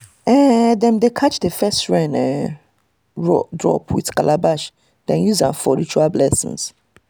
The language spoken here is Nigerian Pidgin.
um dem dey catch the first um rain drop with calabash then use am for ritual blessing.